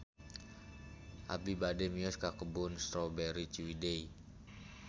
Abi bade mios ka Kebun Strawberry Ciwidey